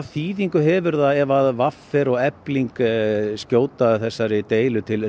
þýðingu hefur það ef v r og Efling skjóta þessu til